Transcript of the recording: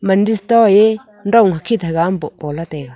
indus toh ye dong hakhit haga am poh po ley taega.